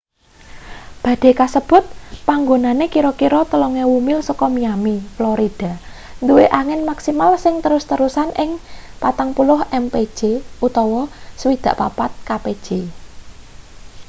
badai kasebut panggonane kira-kira 3.000 mil saka miami florida duwe angin maksimal sing terus-terusan ing 40 mpj 64 kpj